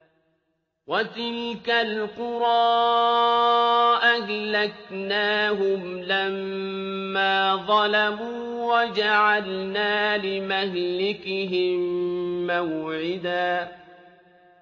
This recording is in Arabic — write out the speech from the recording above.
وَتِلْكَ الْقُرَىٰ أَهْلَكْنَاهُمْ لَمَّا ظَلَمُوا وَجَعَلْنَا لِمَهْلِكِهِم مَّوْعِدًا